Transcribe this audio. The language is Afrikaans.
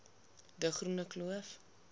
de groene kloof